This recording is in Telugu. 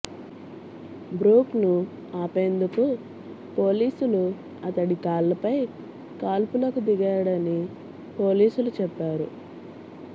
బ్రూక్ ను ఆపేందుకు పోలీసులు అతడి కాళ్లపై కాల్పులకు దిగాడని పోలీసులు చెప్పారు